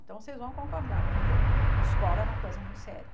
Então vocês vão concordar, porque escola é uma coisa muito séria.